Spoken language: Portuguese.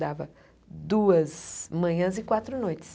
Dava duas manhãs e quatro noites.